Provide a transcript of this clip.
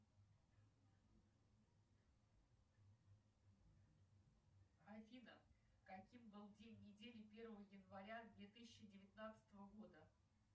афина каким был день недели первое января две тысячи девятнадцатого года